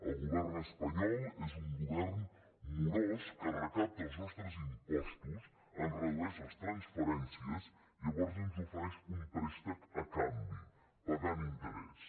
el govern espanyol és un govern morós que recapta els nostres impostos ens redueix les transferències i llavors ens ofereix un préstec a canvi pagant interès